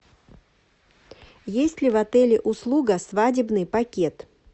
есть ли в отеле услуга свадебный пакет